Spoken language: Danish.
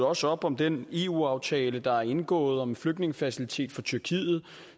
også op om den eu aftale der er indgået om en flygtningefacilitet for tyrkiet